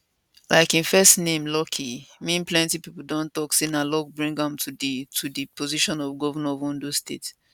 like im first name lucky mean plenty pipo don tok say na luck bring am to di to di position of govnor of ondo state